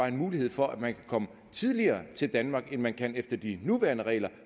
en mulighed for at man kan komme tidligere til danmark end man kan efter de nuværende regler